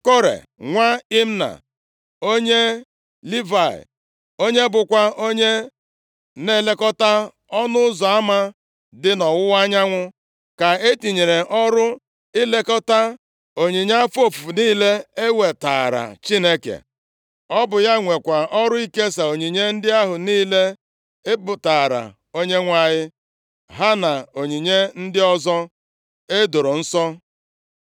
Kore nwa Imna, onye Livayị, onye bụkwa onye na-elekọta ọnụ ụzọ ama dị nʼọwụwa anyanwụ, ka e tinyere ọrụ ilekọta onyinye afọ ofufu niile e wetaara Chineke. Ọ bụ ya nwekwa ọrụ ikesa onyinye ndị ahụ niile e bubataara Onyenwe anyị ha na onyinye ndị ọzọ e doro nsọ.